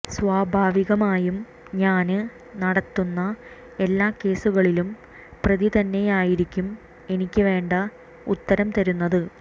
സ്വാഭാവികമായും ഞാന് നടത്തുന്ന എല്ലാ കേസുകളിലും പ്രതി തന്നെയായിരിക്കും എനിക്ക് വേണ്ട ഉത്തരം തരുന്നത്